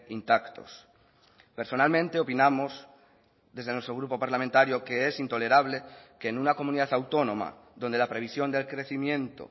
intactos personalmente opinamos desde nuestro grupo parlamentario que es intolerable que en una comunidad autónoma donde la previsión del crecimiento